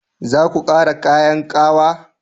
Zaku ƙara kayan ƙawa?